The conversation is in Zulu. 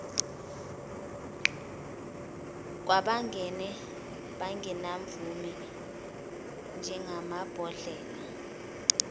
kwabangene bengenamvume njengamabhodlela